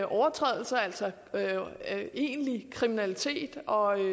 overtrædelser altså egentlig kriminalitet og